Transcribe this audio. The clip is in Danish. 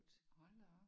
Hold da op!